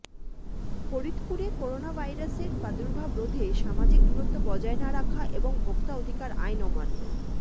ফরিদপুরে করোনাভাইরাসের প্রাদুর্ভাব রোধে সামাজিক দূরত্ব বজায় না রাখা এবং ভোক্তা অধিকার আইন অমান্য